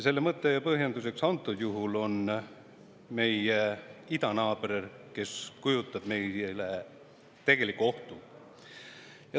Selleks mõtteks ja põhjenduseks on antud juhul meie idanaaber, kes kujutab meile tegelikku ohtu.